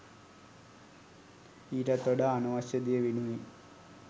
ඊටත් වඩා අනවශ්‍ය දෙය වෙනුවෙන්